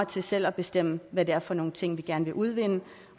til selv at bestemme hvad det er for nogle ting vi gerne vil udvinde